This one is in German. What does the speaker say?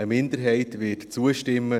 Eine Minderheit wird zustimmen;